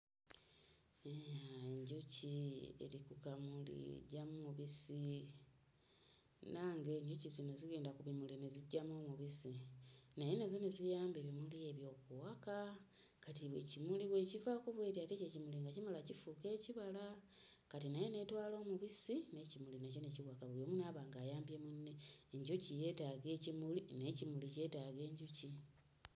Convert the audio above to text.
Enjuki eri ku kamuli eggyamu omubisi, munnange enjuki zino zigenda ku bimuli ne ziggyamu omubisi naye nazo ne ziyamba ebimuli ebyo okuwaka, kati ekimuli bw'ekivaako bw'eti ate ekyo ekimuli nga kimala nga kifuuka ekibala, kati nayo n'etwala omubisi n'ekimuli nakyo ne kiwaka buli omu n'aba ng'ayamba munne, enjuki yeetaaga ekimuli n'ekimuli kyetaaga enjuki.